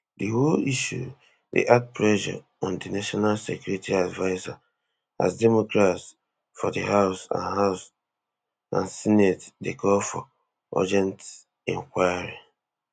di whole issue dey add pressure on di national security adviser as democrats for di house and house and senate dey call for urgent inquiry